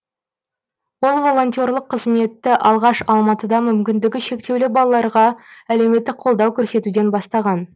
ол волонтерлық қызметті алғаш алматыда мүмкіндігі шектеулі балаларға әлеуметтік қолдау көрсетуден бастаған